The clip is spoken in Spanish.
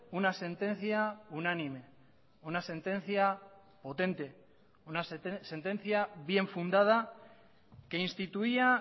una sentencia unánime una sentencia potente una sentencia bien fundada que instituía